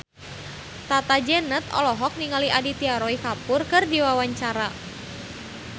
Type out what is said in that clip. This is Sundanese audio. Tata Janeta olohok ningali Aditya Roy Kapoor keur diwawancara